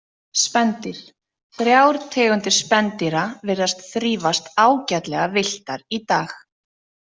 Spendýr Þrjár tegundir spendýra virðast þrífast ágætlega villtar í dag.